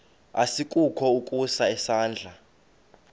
asikukho ukusa isandla